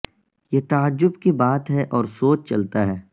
یہ تعجب کی بات ہے اور سوچ چلتا ہے